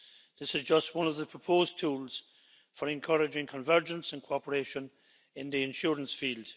This is just one of the proposed tools for encouraging convergence and cooperation in the insurance field.